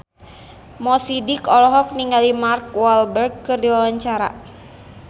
Mo Sidik olohok ningali Mark Walberg keur diwawancara